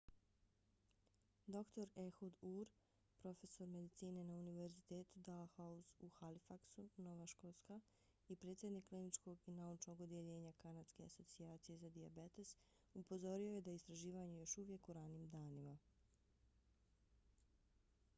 dr ehud ur profesor medicine na univerzitetu dalhousie u halifaxu nova škotska i predsjednik kliničkog i naučnog odjeljenja kanadske asocijacije za dijabetes upozorio je da je istraživanje još uvijek u ranim danima